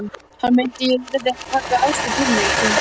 Hann meinti að ég yrði að taka afstöðu til þín.